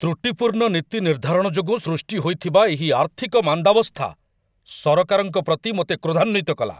ତ୍ରୁଟିପୂର୍ଣ୍ଣ ନୀତି ନିର୍ଦ୍ଧାରଣ ଯୋଗୁଁ ସୃଷ୍ଟି ହୋଇଥିବା ଏହି ଆର୍ଥିକ ମାନ୍ଦାବସ୍ଥା ସରକାରଙ୍କ ପ୍ରତି ମୋତେ କ୍ରୋଧାନ୍ୱିତ କଲା।